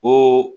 Ko